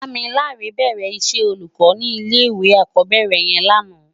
Damilare bèrè iṣè ólúkò ni ilé iwé ákòbèrè yèn làná